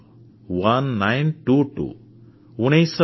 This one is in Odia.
1922 ଉଣେଇଶ ବାଇଶ